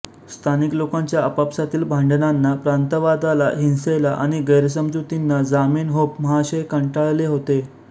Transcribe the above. स्थानिक लोकांच्या आपापसातील भांडणांना प्रांतवादाला हिंसेला आणि गैरसमजुतींना जामेनहोफ महाशय कंटाळले होते